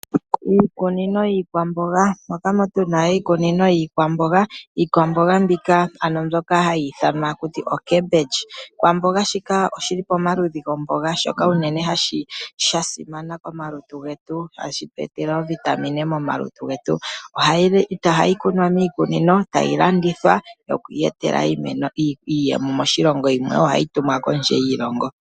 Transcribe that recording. Iikunino yikwamboga. moka tuna iikunino yikwamboga moka tuna iikwamboga pyoka hayithanwa okembendji. Oshikwamboga shika oshili pamaludhi go mboga shoka sha simana uunene komaluntu getu hashi twetele oovitamine momaluntu getu ohayi kunwa miikunino tayi landithwa okuyeta iiyemo moshilongo shetu yimwe ohayi tumwa kondje yo shilongo.